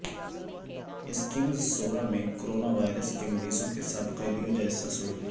succumbs Soura ہ میں coronavirus کے مریضوں کے ساتھ قیدیوں جیسا سلوک